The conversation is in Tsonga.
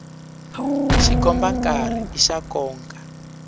xikomba nkarhi i xa nkoka